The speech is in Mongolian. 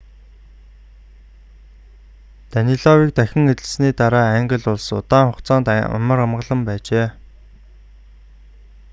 данилавыг дахин эзлэн авсаны дараа англи улс удаан хугацаанд амар амгалан байжээ